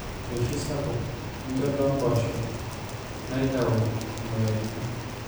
eishoi sapuk, enkedo oompoosho, naaitieu imweyiaritin